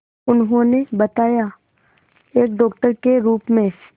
उन्होंने बताया एक डॉक्टर के रूप में